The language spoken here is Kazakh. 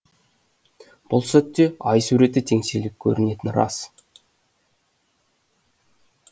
бұл сәтте ай суреті теңселіп көрінетіні рас